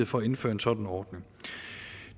for at indføre en sådan ordning